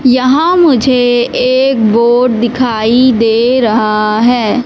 यहां मुझे एक बोर्ड दिखाई दे रहा है।